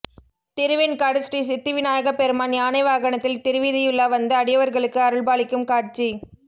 திருவெண்காடு ஸ்ரீ சித்தி விநாயகப்பெருமான் யானை வாகனத்தில் திருவீதிவுலா வந்து அடியவர்களுக்கு அருள்பாலிக்கும் காட்சி